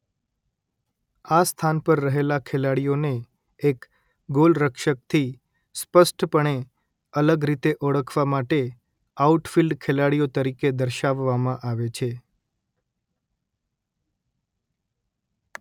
આ સ્થાન પર રહેલા ખેલાડીઓને એક ગોલરક્ષકથી સ્પષ્ટપણે અલગ રીતે ઓળખવા માટે આઉટફિલ્ડ ખેલાડીઓ તરીકે દર્શાવવામાં આવે છે